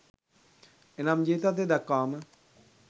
එනම්, ජීවිතාන්තය දක්වාම